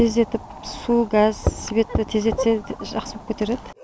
тездетіп су газ светті тездетсе жақсы болып кетер еді